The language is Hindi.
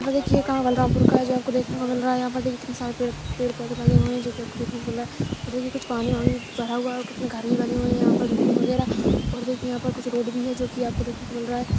यहाँ देखिये कहाँ बलरामपुर का है जो आपको देखने को मिल रहा है यहाँ पर देखिये कितने सारे पेड़-पेड़ पौधे लगे हुए है जोकि आपको देखने को मिल रहा है वो देखिये कुछ पानी-वानी भरा हुआ है और कितना घर भी बने हुए है यहाँ पर बिल्डिंग वगैरह और देखिये यहाँ पर कुछ रोड भी है जोकि आपको देखने को मिल रहा हैं।